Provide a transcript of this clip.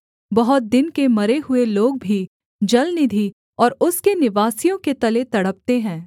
बहुत दिन के मरे हुए लोग भी जलनिधि और उसके निवासियों के तले तड़पते हैं